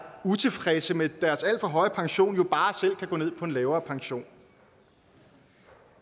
utilfredse med deres alt for høje pension bare selv kan gå ned på en lavere pension